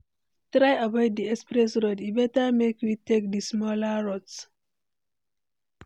Try avoid di express road, e better make we take di smaller route.